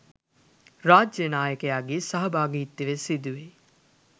රාජ්‍ය නායකයාගේ සහභාගිත්වය සිදුවේ.